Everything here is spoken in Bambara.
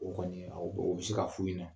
O kɔni awɔ oo be se ka f'u ɲɛna.